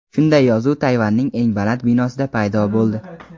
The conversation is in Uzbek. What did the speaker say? Shunday yozuv Tayvanning eng baland binosida paydo bo‘ldi.